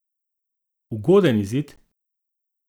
Ugoden izid?